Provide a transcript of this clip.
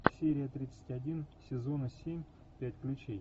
серия тридцать один сезона семь пять ключей